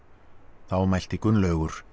þá mælti Gunnlaugur